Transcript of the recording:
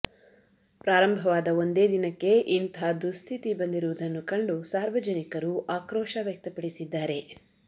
ಪ್ರಾರಂಭವಾದ ಒಂದೇ ದಿನಕ್ಕೆ ಇಂತಾ ದುಸ್ಥಿತಿ ಬಂದಿರುವುದನ್ನು ಕಂಡು ಸಾರ್ವಜನಿಕರು ಆಕ್ರೋಶ ವ್ಯಕ್ತಪಡಿಸಿದ್ದಾರೆ